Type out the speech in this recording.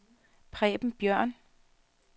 Preben Bjørn